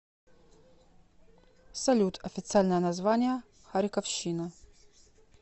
салют официальное название харьковщина